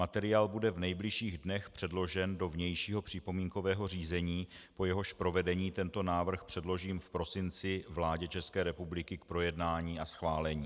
Materiál bude v nejbližších dnech předložen do vnějšího připomínkového řízení, po jehož provedení tento návrh předložím v prosinci vládě České republiky k projednání a schválení.